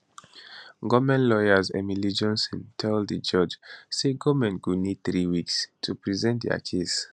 goment lawyer emily johnson tell di judge tsay goment go need three weeks to present dia case